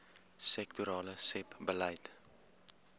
sektorale sebbeleid